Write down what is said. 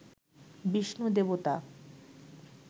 বিষ্ণু দেবতা